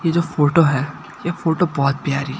ये जो फोटो है ये फोटो बहोत प्यारी--